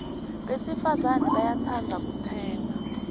besifazane bayatsandza kutsenga